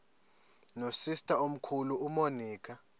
nosister omkhulu umonica